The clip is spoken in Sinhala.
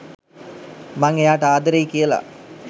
මං එයාට ආදරෙයි කියලා